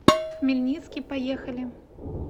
хмельницкий поехали